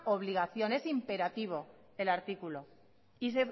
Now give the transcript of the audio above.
obligación es imperativo el artículo